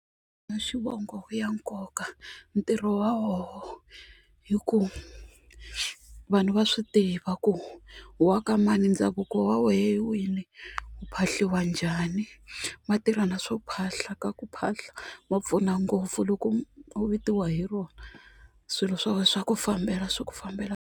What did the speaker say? xivongo ya nkoka ntirho wa woho hi ku vanhu va swi tiva ku u wa ka mani ndhavuko wa wehe hi wini ku phahliwa njhani ma tirha na swo phahla ka ku phahla ma pfuna ngopfu loko u vitiwa hi rona swilo swa wehe swa ku fambela swi ku fambela .